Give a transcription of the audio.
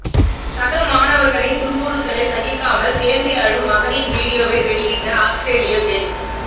சக மாணவர்களின் துன்புறுத்தலை சகிக்காமல் தேம்பி அழும் மகனின் வீடியோவை வெளியிட்ட ஆஸ்திரேலிய பெண்